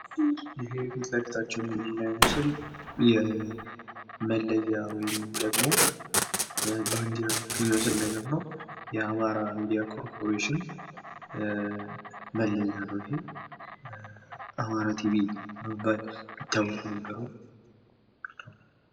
ይህ ፊትለፊታችን የምናየው ምስል የመለያ ወይም ደሞ ባንዲራ ሲሆን የአማራ ሚዲያ ኮርፖሬሽን አርማ ነው። አማራ ቲቪ በመባል የሚታወቅ ነው።